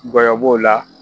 Ngɔyɔ b'o la